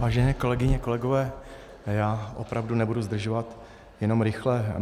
Vážené kolegyně, kolegové, já opravdu nebudu zdržovat, jenom rychle.